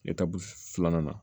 filanan na